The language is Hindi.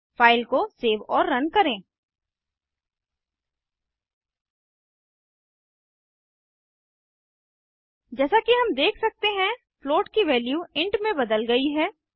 फाइल को सेव और रन करें जैसा कि हम देख सकते हैं फ्लोट की वैल्यू इंट में बदल गयी है